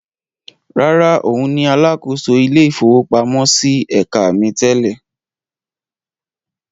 Rárá, òun ni alákòóso ilé-ìfowópamọ́sí ẹ̀ka mi tẹ́lẹ̀.